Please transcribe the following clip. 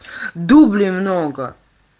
дублей много